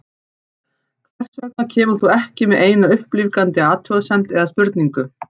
Hvers vegna kemur þú ekki með eina upplífgandi athugasemd eða spurningu?